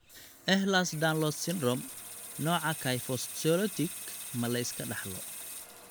Ehlers Danlos Syndrome, nooca kyphoscoliotic ma la iska dhaxlo?